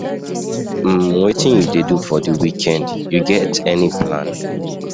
um wetin you dey do for di weekend, you get any plan? um